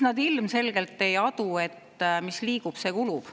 Nad ilmselgelt ei adu, et mis liigub, see kulub.